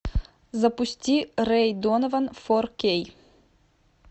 запусти рэй донован фор кей